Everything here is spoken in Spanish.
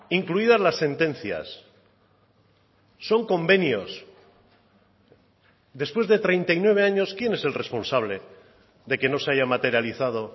incluidas las sentencias son convenios después de treinta y nueve años quién es el responsable de que no se haya materializado